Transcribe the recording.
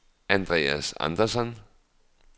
Andreas Andersson